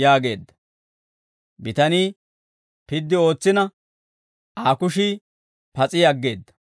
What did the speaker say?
yaageedda; bitanii piddi ootsina, Aa kushii pas'i aggeedda.